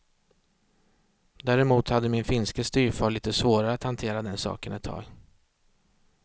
Däremot hade min finske styvfar lite svårare att hantera den saken ett tag.